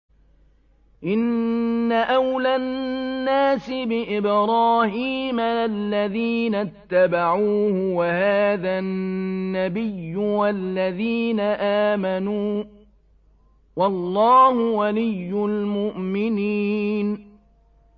إِنَّ أَوْلَى النَّاسِ بِإِبْرَاهِيمَ لَلَّذِينَ اتَّبَعُوهُ وَهَٰذَا النَّبِيُّ وَالَّذِينَ آمَنُوا ۗ وَاللَّهُ وَلِيُّ الْمُؤْمِنِينَ